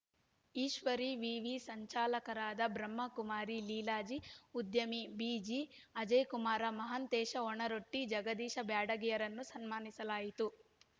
ಈಶ್ವರೀ ವಿವಿ ಸಂಚಾಲಕರಾದ ಬ್ರಹ್ಮಕುಮಾರಿ ಲೀಲಾಜಿ ಉದ್ಯಮಿ ಬಿಜಿಅಜಯ ಕುಮಾರ ಮಹಾಂತೇಶ ಒಣರೊಟ್ಟಿ ಜಗದೀಶ ಬ್ಯಾಡಗಿರನ್ನು ಸನ್ಮಾನಿಸಲಾಯಿತು